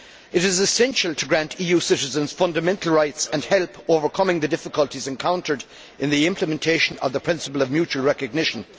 It is essential to grant EU citizens fundamental rights and help overcome the difficulties encountered in the implementation of the principle of mutual recognition.